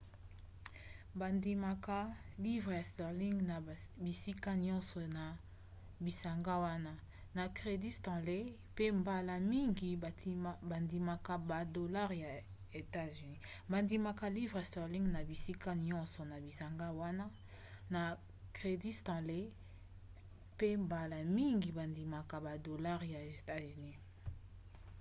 bandimaka livres sterling na bisika nyonso na bisanga wana na crédit stanley mpe mbala mingi bandimaka badolare ya etats-unis